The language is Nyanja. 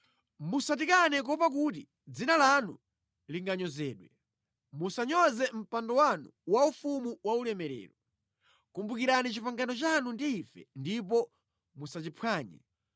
Musatikane kuopa kuti dzina lanu linganyozedwe; musanyoze mpando wanu waufumu waulemerero. Kumbukirani pangano lanu ndi ife ndipo musachiphwanye.